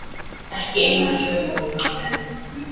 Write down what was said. Ekki eina söguna enn.